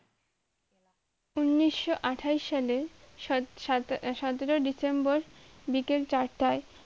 ঊনিশো আঠাশ সালে সত~সতে~সতেরো ডিসেম্বর বিকাল চারটায়